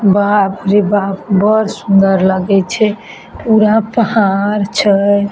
बाप रे बाप बड़ सुन्दर लागे छै पूरा पहाड़ छै ।